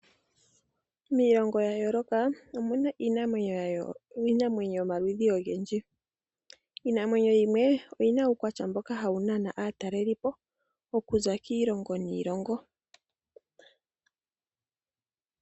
Miilongo ya yooloka omuna iinamwenyo yomaludhi ogendji. Iinamwenyo yimwe oyina uukwatya mboka hawu nana aatalelipo okuza kiilongo niilongo.